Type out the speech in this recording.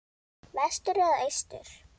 Vestur eða austur?